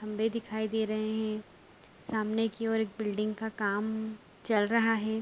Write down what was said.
खम्भे दिखाई दे रहे हैं। सामने की ओर एक बिल्डिंग का काम चल रहा है।